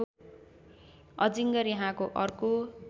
अजिङ्गर यहाँको अर्को